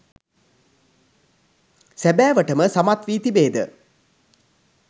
සැබෑවට ම සමත් වී තිබේද?